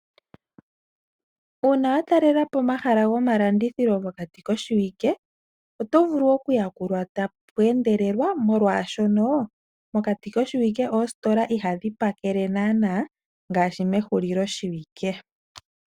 Uuna watalelapo omahala gomalandithilo mokati koshiwike otovulu okuyakulwa tapweendelelwa, molwaashono mokati koshiwike oositola ihadhipakele naana ngaashi mehulilo shiwike.